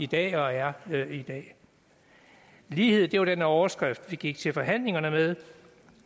der er i dag lighed var den overskrift vi gik til forhandlingerne med